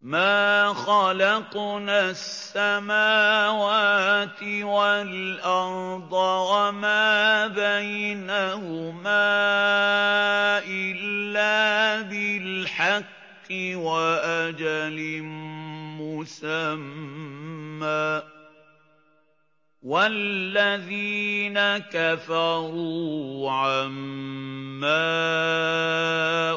مَا خَلَقْنَا السَّمَاوَاتِ وَالْأَرْضَ وَمَا بَيْنَهُمَا إِلَّا بِالْحَقِّ وَأَجَلٍ مُّسَمًّى ۚ وَالَّذِينَ كَفَرُوا عَمَّا